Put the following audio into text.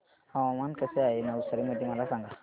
हवामान कसे आहे नवसारी मध्ये मला सांगा